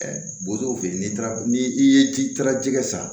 Bozow fe yen n'i taara ni i ye i taara jɛgɛ san